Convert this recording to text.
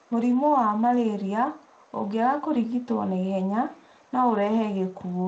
Mũrimũ wa malaria ũngĩaga kũrigitwo na ihenya no ũrehe gĩkuũ